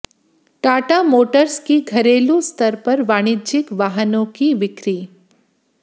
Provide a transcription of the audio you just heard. Tata Motors की घरेलू स्तर पर वाणिज्यिक वाहनों की बिक्री